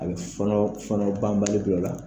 A bɛ fɔɔnɔ banbali bila u la